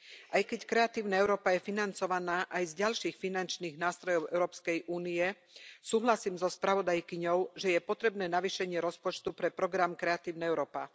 Aj keď Kreatívna Európa je financovaná aj z ďalších finančných nástrojov Európskej únie, súhlasím so spravodajkyňou, že je potrebné navýšenie rozpočtu pre program Kreatívna Európa.